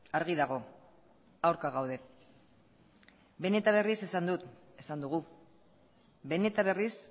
argi dago aurka gaude behin eta berriz esan dut esan dugu behin eta berriz